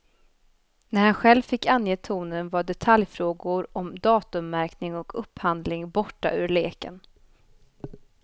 När han själv fick ange tonen var detaljfrågor om datummärkning och upphandling borta ur leken.